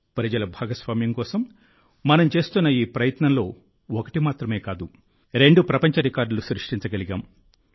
ప్రజల భాగస్వామ్యం కోసం మనం చేస్తున్న ఈ ప్రయత్నంలో ఒకటి మాత్రమే కాదు రెండు ప్రపంచ రికార్డులు సృష్టించగలిగాం